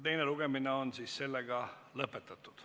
Teine lugemine on lõpetatud.